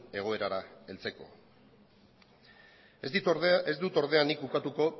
egoerara heltzeko ez dut ordea nik ukatuko